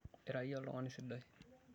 Ira iyie oltung'ani sidai.